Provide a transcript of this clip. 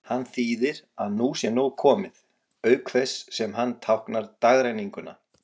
Hann þýðir að nú sé nóg komið, auk þess sem hann táknar dagrenninguna.